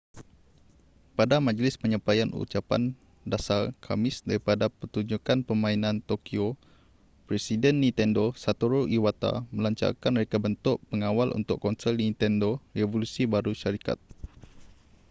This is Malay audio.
pada majlis penyampaian ucapan dasar khamis daripada pertunjukkan permainan tokyo presiden nintendo satoru iwata melancarkan reka bentuk pengawal untuk konsol nintendo revolusi baru syarikat